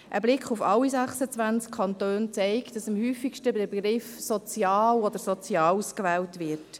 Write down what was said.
Ein Blick auf alle 26 Kantone zeigt, dass der Begriff «sozial» oder «Soziales» am häufigsten gewählt wird.